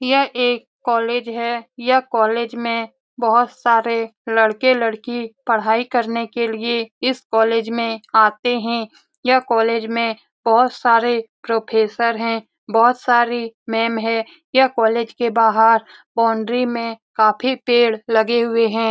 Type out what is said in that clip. ''यह एक कॉलेज है। यह कॉलेज मे बोहोत सारे लड़के लड़की पढ़ाई करने के लिए इस कॉलेज मे आते है। यह कॉलेज मे बोहोत सारे प्रोफेसर है। बोहोत सारी मेम है। ये कॉलेज के बाहर बाउन्ड्री मे काफी पेड़ लगे हुए है।''